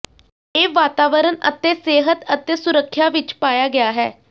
ਇਹ ਵਾਤਾਵਰਣ ਅਤੇ ਸਿਹਤ ਅਤੇ ਸੁਰੱਖਿਆ ਵਿਚ ਪਾਇਆ ਗਿਆ ਹੈ